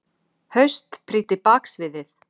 haust, prýddi baksviðið.